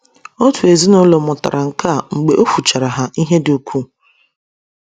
Otu ezinụlọ mụtara nke a mgbe o fuchara ha ihe dị ukwuu.